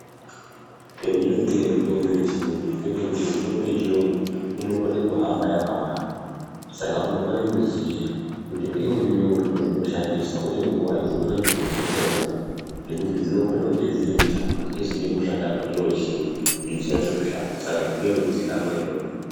Pendinodire mitombo yechiyungu ndepekuti mitombo yechiyungu inokone kuhamba yakawanda saka unofana kuziya kuti ngeuri ngeuri wandinofana kushandisa uye nguwai umweni wakona ndozoushandisa nguwai ngekuti dzinokone kunge dziri mitatu dzinenge dzeide kushanda pachiro chimwe kuti dzinyase kushanda saka zvinoda kuzikanwa izvozvo.